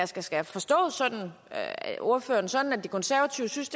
skal skal jeg forstå ordføreren sådan at de konservative synes